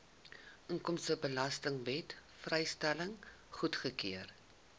inkomstebelastingwet vrystelling goedgekeur